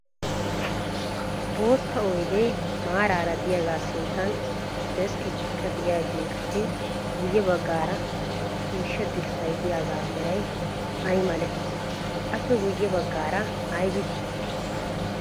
Boota oydee maaraara diyagaa sinttan deskketikka diyageetuppe guyye baggaara ciishshaa dirssay diyaagaa meray ayi malee? Aappe guyye baggaara ayibi dii?